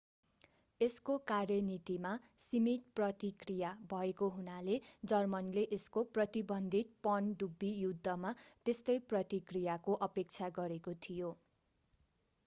यसको कार्यनीतिमा सीमित प्रतिक्रिया भएको हुनाले जर्मनले यसको प्रतिबन्धित पनडुब्बी युद्धमा त्यस्तै प्रतिक्रियाको अपेक्षा गरेको थियो